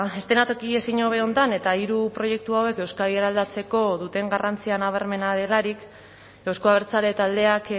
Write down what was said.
eszenatoki ezin hobe honetan eta hiru proiektu hauek euskadi eraldatzeko duten garrantzia nabarmena delarik euzko abertzale taldeak